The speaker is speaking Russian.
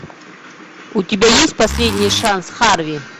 у тебя есть последний шанс харви